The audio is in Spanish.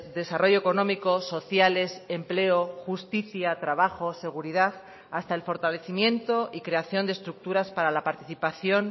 desarrollo económico sociales empleo justicia trabajo seguridad hasta el fortalecimiento y creación de estructuras para la participación